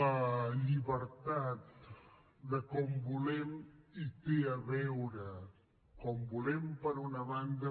la llibertat de com ho volem hi té a veure com ho volem per una banda